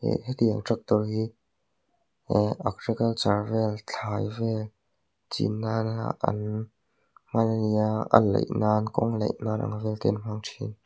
ihh hetiang tractor hi ihh agriculture vel thlai vel chin nan a an hman a ni a alaih nan kawnglaih nan ang vel te an hmang thin.